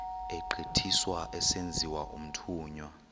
egqithiswa esenziwa umthunywa